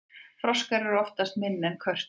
froskar eru oftast minni en körtur